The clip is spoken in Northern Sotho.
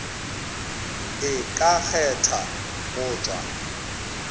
e ka kgetha go tšwa